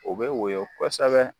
O bɛ woyon kosɛbɛ.